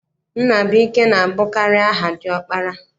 Nnabụike na-abụkarị aha diọkpara.